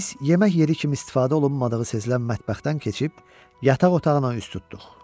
Biz yemək yeri kimi istifadə olunmadığı sezilən mətbəxdən keçib yataq otağına üz tutduq.